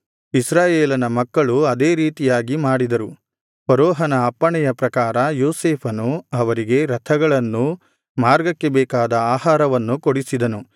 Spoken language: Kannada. ಇಸ್ರಾಯೇಲನ ಮಕ್ಕಳು ಅದೇ ರೀತಿಯಾಗಿ ಮಾಡಿದರು ಫರೋಹನ ಅಪ್ಪಣೆಯ ಪ್ರಕಾರ ಯೋಸೇಫನು ಅವರಿಗೆ ರಥಗಳನ್ನೂ ಮಾರ್ಗಕ್ಕೆ ಬೇಕಾದ ಆಹಾರವನ್ನೂ ಕೊಡಿಸಿದನು